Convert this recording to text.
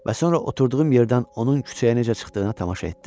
Və sonra oturduğum yerdən onun küçəyə necə çıxdığına tamaşa etdim.